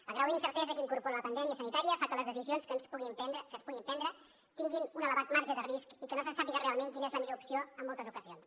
el grau d’incertesa que incorpora la pandèmia sanitària fa que les decisions que es puguin prendre tinguin un elevat marge de risc i que no se sàpiga realment quina és la millor opció en moltes ocasions